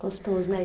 Gostoso, né?